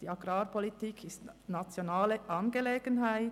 Die Agrarpolitik ist eine nationale Angelegenheit.